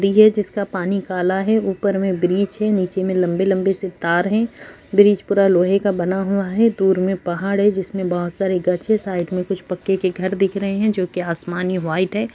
नदी है जिसका पानी काला है ऊपर में ब्रिज है नीचे मे लम्बे लम्बे से तार हैं ब्रिज पूरा लोहे का बना हुआ है दूर में पहाड़ है जिसमें बहोत सारे हैं साइड में कुछ पक्के के घर दिख रहे हैं जो की आसमानी वाइट है।